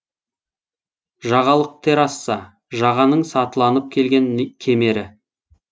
жағалық терраса жағаның сатыланып келген кемері